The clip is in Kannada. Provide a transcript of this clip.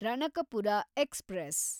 ರಣಕಪುರ ಎಕ್ಸ್‌ಪ್ರೆಸ್